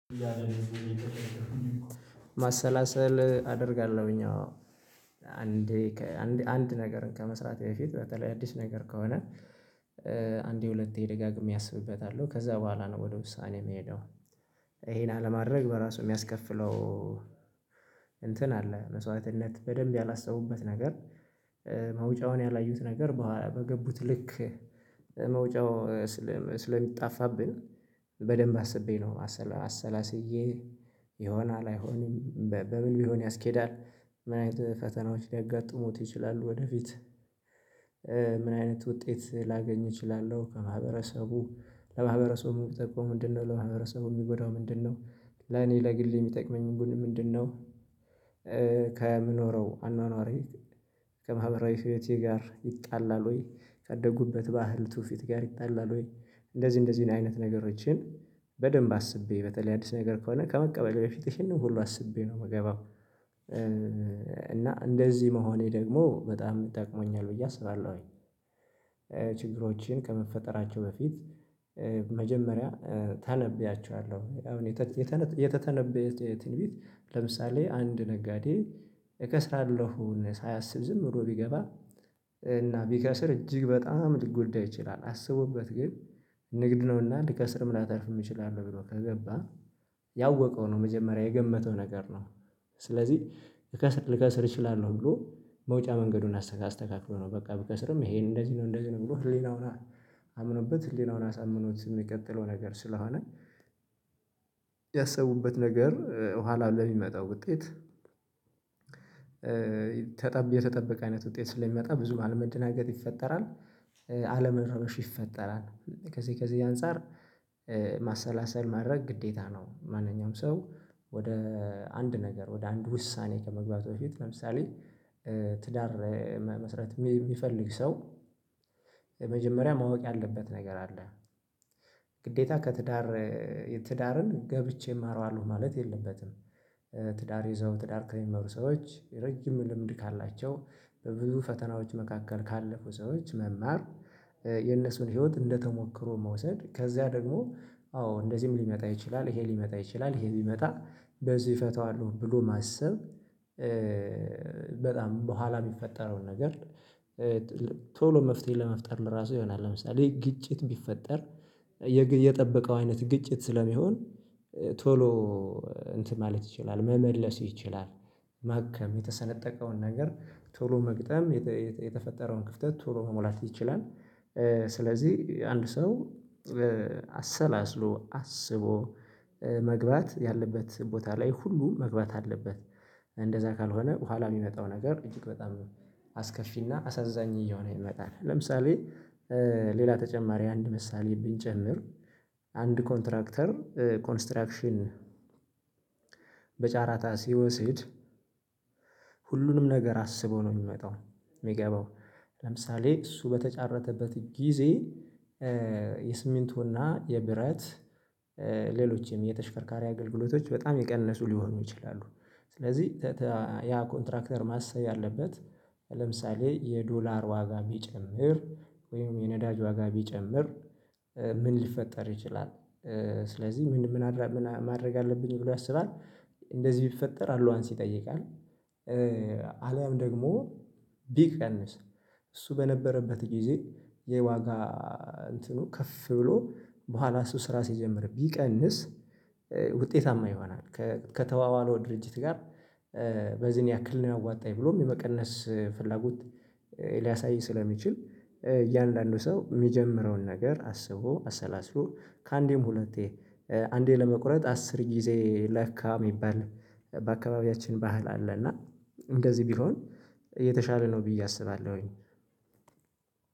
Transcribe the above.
ማሰላሰል አደርጋለሁኝ አዎ። አንድ ከ አንድ አንድ ነገርን ከመስራቴ በፊት በተለይ አዲስ ነገር ከሆነ አንዴ ሁለቴ ደጋግሜ አስብበታለሁ። ከዛ በኋላ ነው ወደ ውሳኔ የምሄደው። ይሄን አለማድረግ በራሱ የሚያስከፍለው እንትን አለ። መስዋዕትነት በደንብ ያላሰቡበት ነገር መውጫውን ያላዩት ነገር በገቡት ልክ መውጫው ስለሚጣፋብን በደንብ አስቤ ነው አሰላስዬ ይሆናል አይሆንም በምን ቢሆን ያስኬዳል ምን አይነት ፈተናዎች ሊያጋጥሙት ይችላሉ ወደፊት ምን አይነት ውጤት ላገኝ እችላለሁ ከማህበረሰቡ? ለማህበረሰቡ የሚጠቅመው ምንድነው? ለማህበረሰቡ የሚጎዳው ምንድነው? ለኔ ለግሌ የሚጠቅመኝ ምንድነው? ከምኖረው አኗኗሬ፤ ከማህበራዊ ህይወቴ ጋር ይጣላል ወይ? ካደግኩበት ባህል ትውፊት ጋር ይጣላል ወይ? እንደዚህ እንደዚህ አይነት ነገሮችን በደንብ አስቤ በተለይ አዲስ ነገር ከሆነ ከመቀበሌ በፊት ይሄንን ሁሉ አስቤ ነው የምገባው። እና እንደዚህ መሆኔ ደግሞ በጣም ጠቅሞኛል ብዬ አስባለሁኝ። ችግሮችን ከመፈጠራቸው በፊት መጀመሪያ እተነብያቸዋለሁ። አሁን የተተነበየ ትንቢት ለምሳሌ አንድ ነጋዴ እከስራለሁን ሳያስብ ዝም ብሎ ቢገባ እና ቢከስር እጅግ በጣም ሊጎዳ ይችላል። አስቦበት ግን ንግድ ነውና ልከስርም ላተርፍም እችላለሁ ብሎ ከገባ፤ ያወቀው ነው መጀመሪያ የገመተው ነገር ነው። ስለዚህ ልከስር ልከስር እችላለሁ ብሎ መውጫ መንገዱን አስተካክሎ ነው በቃ፤ ብከስርም ይሄን እንደዚህ ነው እንደዚህ ነው ብሎ ህሊናውን አምኖበት ህሊናውን አሳምኖት የሚቀጥለው ነገር ስለሆነ ያሰቡበት ነገር ኋላ ለሚመጣው ውጤት ተጠብቅ የተጠበቀ አይነት ውጤት ስለሚመጣ ብዙም አለመደናገጥ ይፈጠራል። አለመረበሽ ይፈጠራል። ከዚህ ከዚህ አንፃር ማሰላሰል ማድረግ ግዴታ ነው ማንኛውም ሰው ወደ አንድ ነገር ወደ አንድ ውሳኔ ከመግባቱ በፊት ለምሳሌ ትዳር መመስረት የሚፈልግ ሰው መጀመሪያ ማወቅ ያለበት ነገር አለ። ግዴታ ከትዳር ትዳርን ገብቼ እማራዋለሁ ማለት የለበትም። ትዳር ይዘው ትዳር ከሚመሩ ሰዎች፤ ረጅም ልምድ ካላቸው፤ በብዙ ፈተናዎች መካከል ካለፉ ሰዎች መማር የነሱን ህይወት እንደተሞክሮ መውሰድ። ከዛ ደግሞ አዎ እንደዚህም ሊመጣ ይችላል ይሄ ሊመጣ ይችላል ይሄ ቢመጣ በዚህ እፈታዋለሁ ብሎ ማሰብ፤ በጣም በኋላ የሚፈጠረውን ነገር ቶሎ መፍትሄ ለመፍጠር ለራሱ ይሆናል። ለምሳሌ ግጭት ቢፈጠር የጠበቀው አይነት ግጭት ስለሚሆን ቶሎ እንትን ማለት ይችላል መመለስ ይችላል። ማከም የተሰነጠቀውን ነገር ቶሎ መግጠም የተፈጠረውን ክፍተት ቶሎ መሞላት ይችላል። ስለዚህ አንድ ሰው አሰላስሎ አስቦ መግባት ያለበት ቦታ ላይ ሁሉን መግባት አለበት እንደዛ ካልሆነ በኋላ የሚመጣው ነገር እጅግ በጣም አስከፊና አሳዛኝ እየሆነ ይመጣል። ለምሳሌ ሌላ ተጨማሪ አንድ ምሳሌ ብንጨምር አንድ ኮንትራክተር ኮንስትራክሽን በጨረታ ሲወስድ፤ ሁሉንም ነገር አስቦ ነው የሚመጣው የሚገባው። ለምሳሌ እሱ በተጫረተበት ጊዜ የሲሚንቶና የብረት ሌሎችም የተሽከርካሪ አገልግሎቶች በጣም የቀነሱ ሊሆኑ ይችላሉ። ስለዚህ ያ ኮንትራክተር ማሰብ ያለበት ለምሳሌ የዶላር ዋጋ ቢጨምር ወይም የነዳጅ ዋጋ ቢጨምር ምን ሊፈጠር ይችላል? ስለዚህ ምን ምን ማድረግ አለብኝ ብሎ ያስባል እንደዚህ ቢፈጠር አሎዋንስ ይጠይቃል አሊያም ደግሞ ቢቀንስ እሱ በነበረበት ጊዜ የዋጋ እንትኑ ከፍ ብሎ በኋላ እሱ ስራ ሲጀምር ቢቀንስ ውጤታማ ይሆናል። ከተባባለው ድርጅት ጋር በዚህን ያክል ነው የሚያዋጣኝ ብሎም የመቀነስ ፍላጎት ሊያሳይ ስለሚችል፤ እያንዳንዱ ሰው የሚጀምረውን ነገር አስቦ አሰላስሎ ከአንዴም ሁለቴ 'አንዴ ለመቁረጥ አስር ጊዜ ለካ' የሚባል በአካባቢያችን ባህል አለ እና እንደዚህ ቢሆን የተሻለ ነው ብዬ አስባለሁኝ።